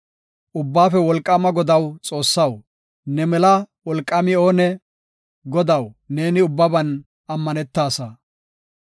Ubbaafe Wolqaama Godaw Xoossaw, ne mela wolqaami oonee? Godaw, neeni ubbaban ammanetaasa.